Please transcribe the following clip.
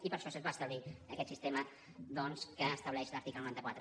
i per això es va establir aquest sistema doncs que estableix l’article noranta quatre